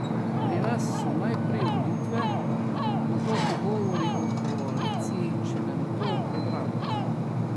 Pri nas so najprej volitve, nato pogovori o koaliciji in šele nato o programu.